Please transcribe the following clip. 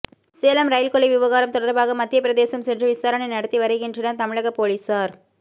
Salem rail கொள்ளை விவகாரம் தொடர்பாக மத்திய பிரதேசம் சென்று விசாரணை நடத்தி வருகின்றனர் தமிழக போலீசார்